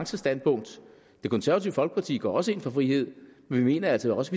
standpunkt det konservative folkeparti går også ind for frihed men vi mener altså også